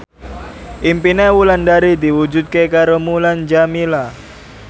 impine Wulandari diwujudke karo Mulan Jameela